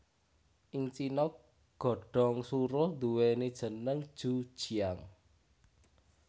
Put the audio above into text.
Ing Cina godhong suruh nduwèni jeneng ju jiang